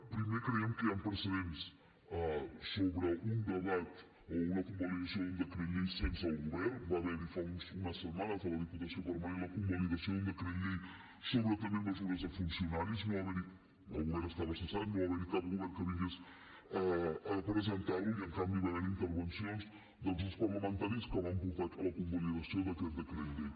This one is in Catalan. primer creiem que hi han precedents sobre un debat o una convalidació d’un decret llei sense el govern va haver hi fa unes setmanes a la diputació permanent la convalidació d’un decret llei sobre també mesures de funcionaris el govern estava cessat no va haver hi cap govern que vingués a presentar lo i en canvi va haver hi intervencions dels grups parlamentaris que van portar a la convalidació d’aquest decret llei